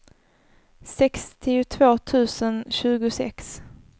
sextiotvå tusen tjugosex